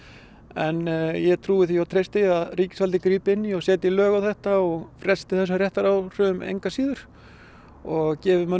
en ég trúi því og treysti að ríkisvaldið grípi inní og setji lög á þetta og fresti þessum réttaráhrif engu að síður og gefi